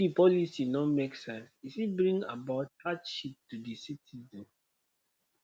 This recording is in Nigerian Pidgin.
if di policy no make sense e fit bring about hardship to di citizens